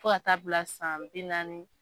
Fo ka taa bila san bi naani.